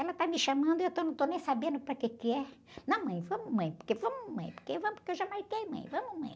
Ela está me chamando e eu estou, não estou nem sabendo para quê que é. Não, mãe, vamos, mãe, porque vamos, mãe, porque vamos, porque eu já marquei, mãe, vamos, mãe.